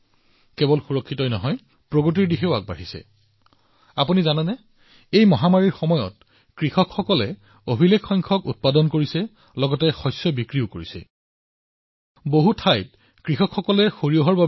কেৱল ইয়াক সুৰক্ষিত ৰখাই নহয় লগতে আগবাঢ়িও গৈছিল ইয়াৰ প্ৰগতি হৈছিল আপুনি জানেনে যে এই মহামাৰীতো আমাৰ কৃষকসকলে অভিলেখ সংখ্যক উৎপাদন কৰিছে যেতিয়া কৃষকসকলে অভিলেখ সংখ্যক উৎপাদন কৰিছিল সেই সময়তে দেশখনেও অভিলেখ সংখ্যক শস্য ক্ৰয় কৰিছে